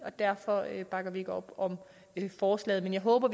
og derfor bakker vi ikke op om forslaget men jeg håber